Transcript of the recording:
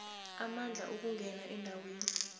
amandla ukungena endaweni